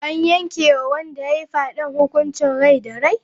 An yanke wa wanda ya yi fyaden hukuncin daurin rai da rai?